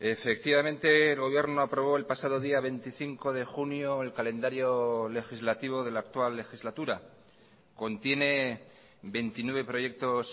efectivamente el gobierno aprobó el pasado día veinticinco de junio el calendario legislativo de la actual legislatura contiene veintinueve proyectos